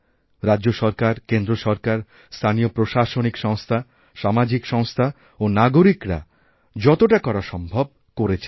রাজ্য সরকার কেন্দ্র সরকার স্থানীয় প্রশাসনিক সংস্থা সামাজিক সংস্থা ও নাগরিকরাযতটা করা সম্ভব করেছেন